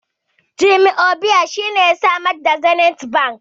Jim Ovia shine ya samar da Zenith bank